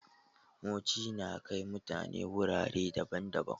Motoci na kai mutane wurare daban-daban.